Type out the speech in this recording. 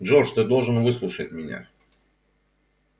джордж ты должен выслушать меня